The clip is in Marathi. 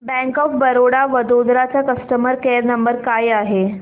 बँक ऑफ बरोडा वडोदरा चा कस्टमर केअर नंबर काय आहे